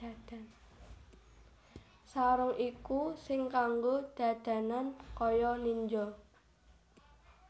Sarung iku sing kanggo dadanan kaya ninja